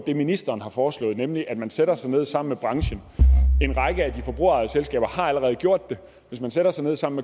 det ministeren har foreslået nemlig at man sætter sig ned sammen med branchen en række af de forbrugerejede selskaber allerede gjort det og hvis man sætter sig ned sammen